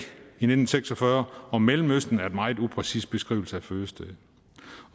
i nitten seks og fyrre og mellemøsten er en meget upræcis beskrivelse af fødestedet